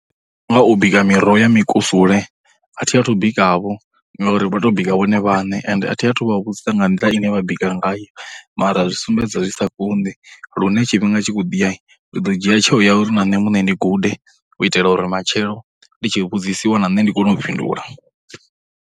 Nga u bika miroho ya mikusule, a thi athu bikavho ngauri vha tou bika vhone vhaṋe, ende a thi athu vha vhudzisa nga nḓila ine vha bika ngayo mara. Zwi sumbedza zwi sa kondi lune tshifhinga tshi khou ḓiya, ndi ḓo dzhia tsheo ya uri na nṋe muṋe ndi gude u itela uri matshelo ndi tshi vhudzisa na ṋne ndi kone u fhindula.